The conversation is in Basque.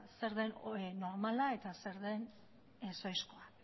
zer den normala eta zer den ez ohizkoa